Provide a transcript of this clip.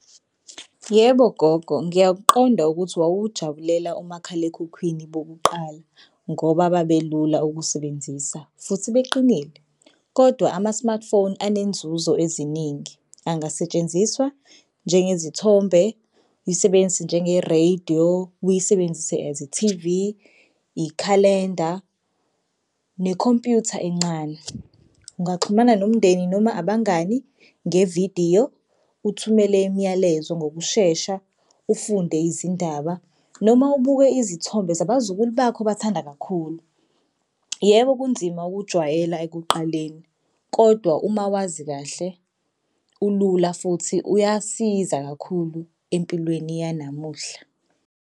Yebo, gogo, ngiyakuqonda ukuthi wawujabulela umakhalekhukhwini bokuqala ngoba babelula ukusebenzisa futhi beqinile kodwa ama-smartphone anenzuzo eziningi. Angasetshenziswa njengezithombe, uyisebenzise njengerediyo, uyisebenzise as ithivi, ikhalenda, nekhompyutha encane. Ungaxhumana nomndeni noma abangani ngevidiyo, uthumele imiyalezo ngokushesha, ufunde izindaba noma ubuke izithombe zabazukulu bakho obathanda kakhulu. Yebo kunzima ukujwayela ekuqaleni, kodwa uma wazi kahle ulula futhi uyasiza kakhulu empilweni yanamuhla.